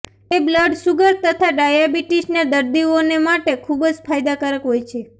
તે blood sugar તથા ડાયાબીટીસના દર્દીઓને માટે ખુબ ફાયદાકારક હોય છે